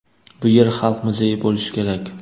Bu yer xalq muzeyi bo‘lishi kerak.